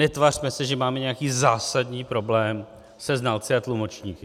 Netvařme se, že máme nějaký zásadní problém se znalci a tlumočníky.